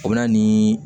O bɛ na ni